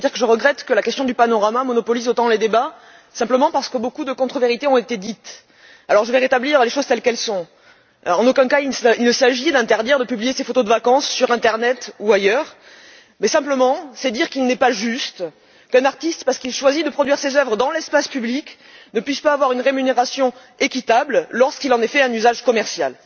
Madame la Présidente, chers collègues, je voulais dire que je regrette que la question du panorama monopolise autant les débats, simplement parce que beaucoup de contre vérités ont été dites. Je vais rétablir les choses telles qu'elles sont. En aucun cas, il ne s'agit d'interdire de publier ses photos de vacances sur l'internet ou ailleurs, mais simplement de dire qu'il n'est pas juste qu'un artiste, parce qu'il choisit de produire ses œuvres dans l'espace public, ne puisse pas recevoir une rémunération équitable lorsqu'il en est fait un usage commercial.